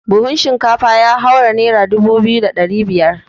Buhun shinkafa ya haura nera dubu biyu da ɗari ɗaya.